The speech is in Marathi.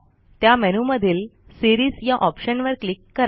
त्या मेनूमधील सीरीज या ऑप्शनवर क्लिक करा